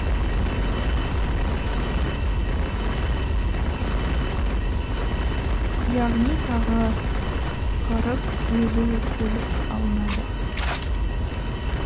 яғни тағы қырық елу көлік алынады